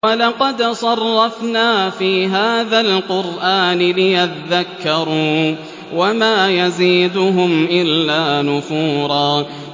وَلَقَدْ صَرَّفْنَا فِي هَٰذَا الْقُرْآنِ لِيَذَّكَّرُوا وَمَا يَزِيدُهُمْ إِلَّا نُفُورًا